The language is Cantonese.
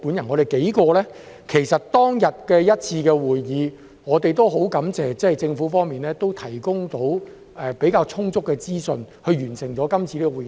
我們數人在當天一次會議上很感謝政府方面能提供比較充足的資訊，去完成該次的會議。